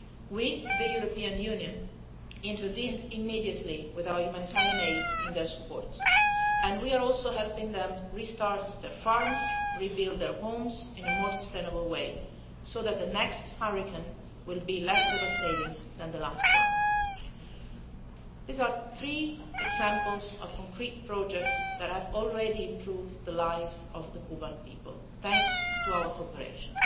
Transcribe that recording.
We, the European Union, intervened immediately with our humanitarian aid in their support, and we are also helping them restart their farms and rebuild their homes in a more sustainable way so that the next hurricane will be less devastating than the last one. These are three examples of concrete projects that have already improved the life of the Cuban people thanks to our cooperation.